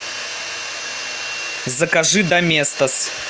закажи доместос